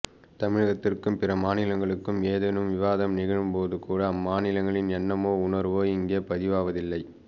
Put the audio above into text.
தமிழகத்திற்கும் பிறமாநிலங்களுக்கும் ஏதேனும் விவாதம் நிகழும்போதுகூட அம்மாநிலங்களின் எண்ணமோ உணர்வோ இங்கே பதிவாவது இல்லை